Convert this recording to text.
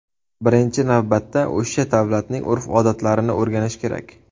Birinchi navbatda o‘sha davlatning urf-odatlarini o‘rganish kerak.